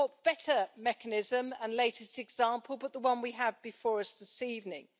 What better mechanism, and latest example, but the one we have before us this evening?